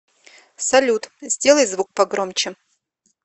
салют сделай звук погромче